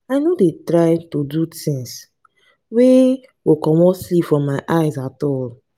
i no dey try do tins wey go comot sleep from my eyes at all.